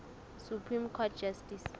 supreme court justice